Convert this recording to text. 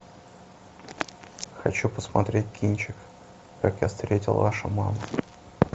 хочу посмотреть кинчик как я встретил вашу маму